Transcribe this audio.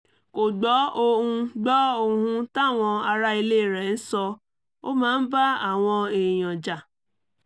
kò gbọ́ ohun gbọ́ ohun táwọn ará ilé rẹ̀ ń sọ ó máa ń bá àwọn èèyàn jà